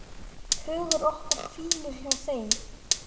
Hugur okkar hvílir hjá þeim.